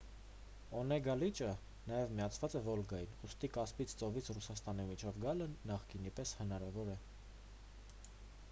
օնեգա լիճը նաև միացած է վոլգային ուստի կասպից ծովից ռուսաստանի միջով գալը նախկինի պես հնարավոր է